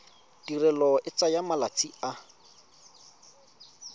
tirelo e tsaya malatsi a